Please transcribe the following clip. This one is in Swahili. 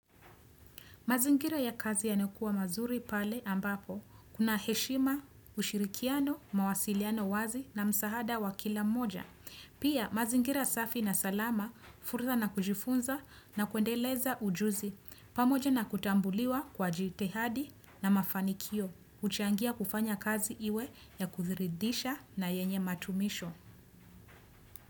Mazingira ya kazi yanakuwa mazuri pale ambapo, kuna heshima, ushirikiano, mawasiliano wazi na msahada wa kila moja. Pia mazingira safi na salama, fursa na kujifunza na kuendeleza ujuzi, pamoja na kutambuliwa kwa jitihadi na mafanikio, huchangia kufanya kazi iwe ya kuridhisha na yenye matumisho.